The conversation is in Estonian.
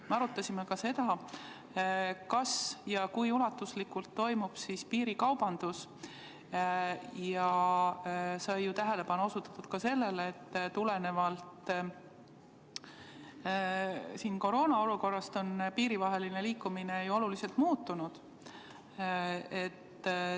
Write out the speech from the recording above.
Me arutasime ka seda, kui ulatuslikult toimub piirikaubandus, ja tähelepanu sai ju ka osutatud sellele, et koroonaolukorrast tulenevalt on riikidevaheline liikumine oluliselt muutunud.